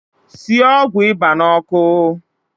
Sie ọgwụ ịba n’ọkụ